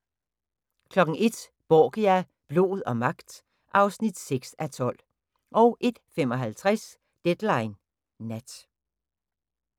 01:00: Borgia – blod og magt (6:12) 01:55: Deadline Nat